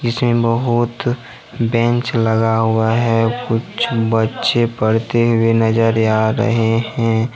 इसमें बहोत बेंच लगा हुआ है कुछ बच्चे पढ़ते हुए नजर आ रहे हैं।